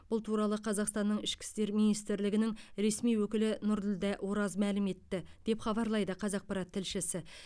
бұл туралы қазақстанның ішкі істер министрлігінің ресми өкілі нұрділдә ораз мәлім етті деп хабарлайды қазақпарат тілшісі